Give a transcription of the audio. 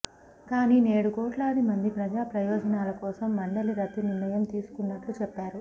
కానీ నేడు కోట్లాది మంది ప్రజాప్రయోజనాల కోసం మండలి రద్దు నిర్ణయం తీసుకున్నట్లు చెప్పారు